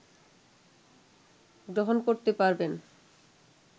গ্রহণ করতে পারবেন